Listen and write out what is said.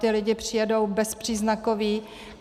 Ti lidé přijedou bezpříznakoví.